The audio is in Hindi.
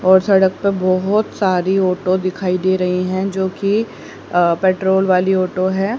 और सड़क पे बहोत सारी ऑटो दिखाई दे रही हैं जो कि अ पेट्रोल वाली ऑटो हैं।